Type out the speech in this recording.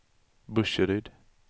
Burseryd